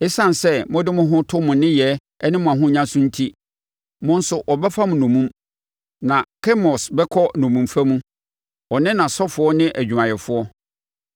Esiane sɛ mode mo ho to mo nneyɛɛ ne mo ahonya so enti, mo nso wɔbɛfa mo nnommum, na Kemos bɛkɔ nnommumfa mu, ɔne nʼasɔfoɔ ne adwumayɛfoɔ.